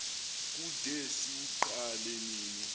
kude siwuqale nini